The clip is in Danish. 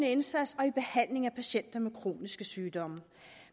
indsats og i behandlingen af patienter med kroniske sygdomme